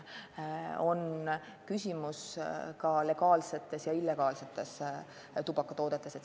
Aga küsimus on ka illegaalsetes tubakatoodetes.